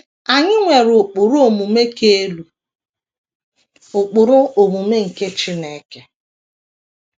Anyị nwere ụkpụrụ omume ka elu, ụkpụrụ omume nke Chineke.